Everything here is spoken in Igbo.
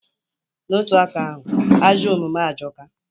N'otu aka ahụ, ajọ omume ajọka.